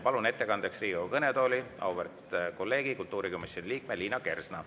Palun ettekandeks Riigikogu kõnetooli auväärt kolleegi, kultuurikomisjoni liikme Liina Kersna.